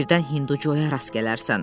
Birdən Hindu Coya rast gələrsən.